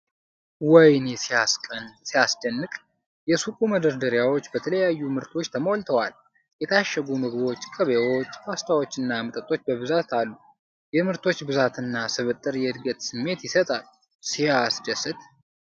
ወይኔ! ሲያስደንቅ! የሱቁ መደርደሪያዎች በተለያዩ ምርቶች ተሞልተዋል፤ የታሸጉ ምግቦች፣ ቅቤዎች፣ ፓስታዎችና መጠጦች በብዛት አሉ። የምርቶች ብዛትና ስብጥር የዕድገት ስሜት ይሰጣል! ሲያስደስት!